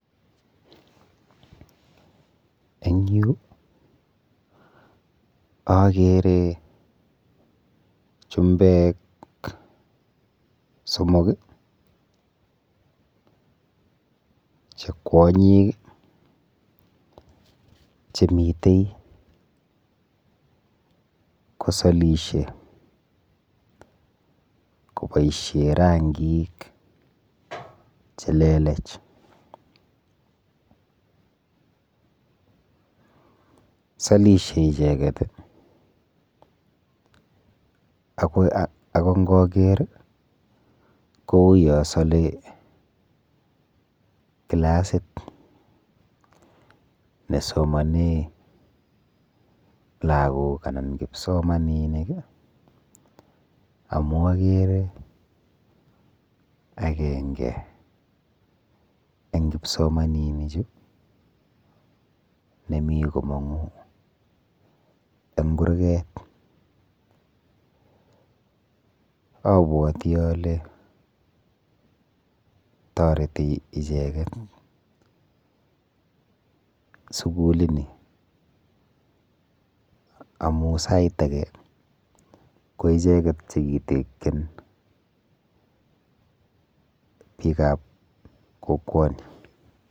Eng yu akere chumbek somok che kwonyik chemite kosolishe koboishe rankik chelelech. Solishe icheket ako nkaker kouyo sole kilasit nesomone lagok anan kipsomaninik amu akere akenge eng kipsomaninichu nemi komong'u eng kurget. Abwoti ale toreti icheket sukulini amu sait ake ko icheket chekitekchin biikap kokwoni.